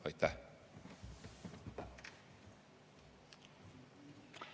Aitäh!